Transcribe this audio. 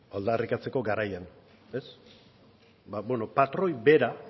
aldarrikatzeko garaian ez patroi bera